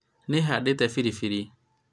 nĩhandĩte biribiri